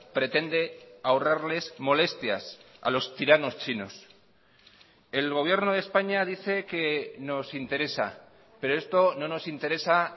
pretende ahorrarles molestias a los tiranos chinos el gobierno de españa dice que nos interesa pero esto no nos interesa